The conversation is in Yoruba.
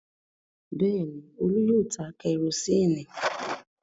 Bẹ́ẹ̀ ni, Olú yóò ta kẹrósíínì.